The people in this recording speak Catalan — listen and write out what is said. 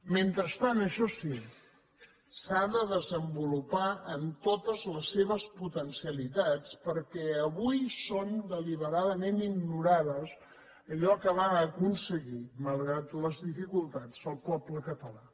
mentrestant això sí s’ha de desenvolupar en totes les seves potencialitats perquè avui són deliberadament ignorades allò que va aconseguir malgrat les dificultats el poble català